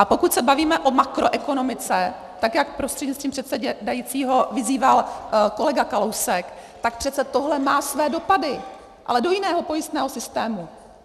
A pokud se bavíme o makroekonomice, tak jak prostřednictvím předsedajícího vyzýval kolega Kalousek, tak přece tohle má své dopady, ale do jiného pojistného systému.